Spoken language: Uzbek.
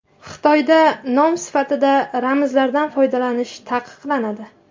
Xitoyda nom sifatida ramzlardan foydalanish taqiqlanadi.